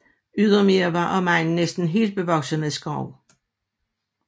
Ydermere var omegnen næsten helt bevokset med skov